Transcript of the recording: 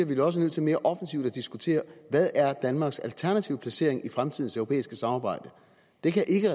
vi da også nødt til mere offensivt at diskutere hvad er danmarks alternative placering i fremtidens europæiske samarbejde det kan